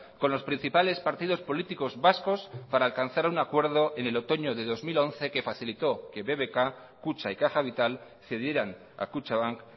con los principales partidos políticos vascos para alcanzar un acuerdo en el otoño de dos mil once que facilitó que bbk kutxa y caja vital cedieran a kutxabank